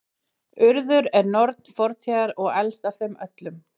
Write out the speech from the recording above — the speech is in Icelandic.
urður er norn fortíðar og elst af þeim öllum